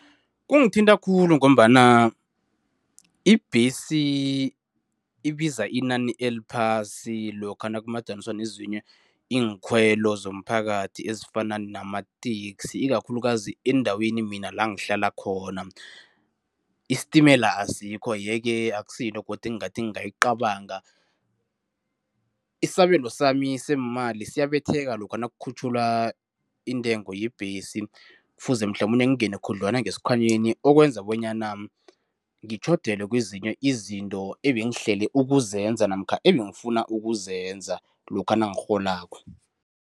Kungithinta khulu ngombana ibhesi ibiza inani eliphasi lokha nakumadaniswa nezinye iinkhwelo zomphakathi ezifana nama-taxi, ikakhulukazi eendaweni mina la ngihlala khona. Istimela asikho, yeke akusiyinto godu engingathi ngingayicabanga. Isabelo sami seemali siyabetheka lokha nakukhutjhulwa intengo yebhesi kufuze mhlamunye ngingene khudlwana ngesikhwanyeni, okwenza bonyana ngitjhodelwe kwezinye izinto ebengihlele ukuzenza namkha ebengifuna ukuzenza lokha nangikgholako.